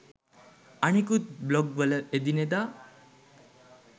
අනෙකුත් බ්ලොග් වල එදිනෙදා